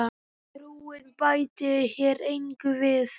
Trúin bæti hér engu við.